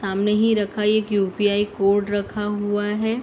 सामने ही रखा एक यु.पी.आई कोड रखा हुआ है।